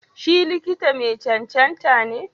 Si likita ma cancanta ne?